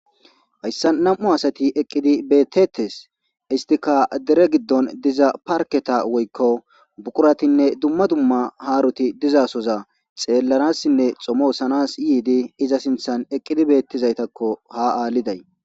hayssa nam'u asati eqqidi beettettes istika dere giddon diza parketa woykko buquratinne dumma dumma haaroti dizasoza xeellanassinne xomosanas yiidi iza sinthan eqqidi beettizaytakko ha aalliday